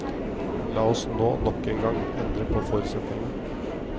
La oss nå nok en gang endre på forutsetningene.